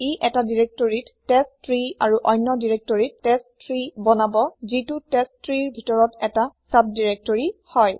ই এটা দিৰেক্তৰিত টেষ্টট্ৰী আৰু অন্য দিৰেক্তৰিত টেষ্ট3 বনাব যিটো টেষ্টট্ৰী ৰ ভিতৰত ১টা চাব দিৰেক্তৰি হয়